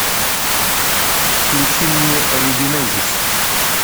включи мне регенезис